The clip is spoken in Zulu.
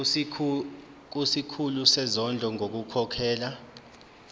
kusikhulu sezondlo ngokukhokhela